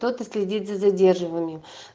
кто-то следит за задерживыми